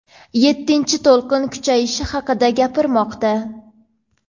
yettinchi to‘lqin kuchayishi haqida gapirmoqda.